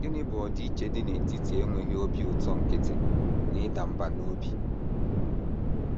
Gịnị bụ ọdịiche dị n’etiti enweghị obi ụtọ nkịtị na ịda mbà n’obi?